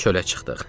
Çölə çıxdıq.